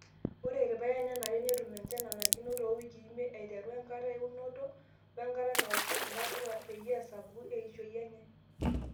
Ore irpaek nenare netum enchan nanarikino too wikii imiet aiteru enkata eunoto wenkata naoshu ntapuka peyie esapuku eishioi enyee.